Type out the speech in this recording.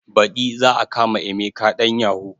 Baɗi za a kama emeka ɗan yahu